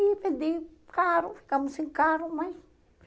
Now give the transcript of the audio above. E vendi carro, ficamos sem carro, mas